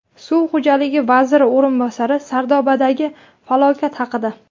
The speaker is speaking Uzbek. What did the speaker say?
Suv xo‘jaligi vaziri o‘rinbosari Sardobadagi falokat haqida.